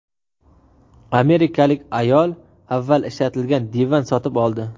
Amerikalik ayol avval ishlatilgan divan sotib oldi.